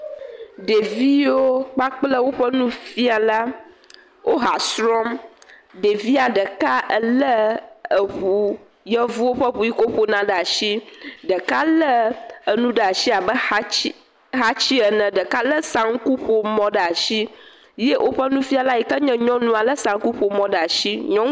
Ɖeviwo kpakple woƒe nufiala, wo ha srɔm. Ɖevia ɖeka le eʋu, yevuwo ƒe ʋu yike wo ƒo na ɖe asi. Ele nu ɖe ɖe asi abe xatsɛ, xatsɛ ene. Ɖeka le saŋku ƒomɔ ɖe asi ye woƒe nufiala yike nye nyɔnua le saŋku ƒomɔ ɖe asi. Nyɔnuwo......